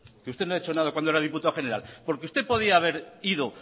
que usted no ha hecho nada cuando era diputado general porque usted podía haber ido